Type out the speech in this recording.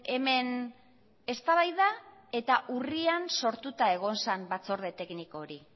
hemen eztabaida eta urrian sortuta egon zen batzorde tekniko hori